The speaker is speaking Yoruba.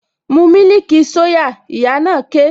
Mu mílìkì soya! Ìyá na ké